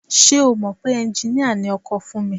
Ṣé o mọ̀ pé ẹnjiníà ni ọkọ Fúnmi?